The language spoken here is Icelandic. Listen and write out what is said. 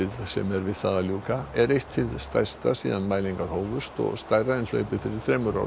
sem er við það að ljúka er eitt hið stærsta síðan mælingar hófust og stærra en hlaupið fyrir þremur árum